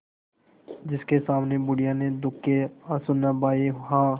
जिसके सामने बुढ़िया ने दुःख के आँसू न बहाये हां